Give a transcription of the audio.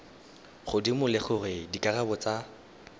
godimo le gore dikarabo tsa